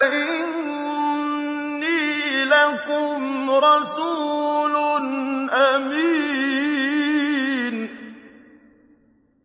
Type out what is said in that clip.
إِنِّي لَكُمْ رَسُولٌ أَمِينٌ